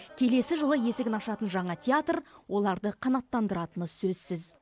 келесі жылы есігін ашатын жаңа театр оларды қанаттандыратыны сөзсіз